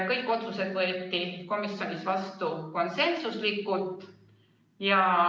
Kõik otsused võeti komisjonis vastu konsensuslikult.